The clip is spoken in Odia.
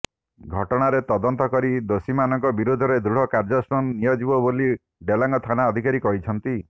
ଘଟଣାରେ ତଦନ୍ତ କରି ଦୋଷୀମାନଙ୍କ ବିରୋଧରେ ଦୃଢ କାର୍ଯ୍ୟାନୁଷ୍ଠାନ ନିଆଯିବ ବୋଲି ଡେଲାଙ୍ଗ ଥାନା ଅଧିକାରୀ କହିଛନ୍ତି